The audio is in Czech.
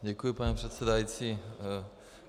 Děkuji, pane předsedající.